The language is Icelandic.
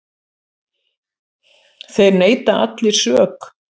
Þeir neita allir sök.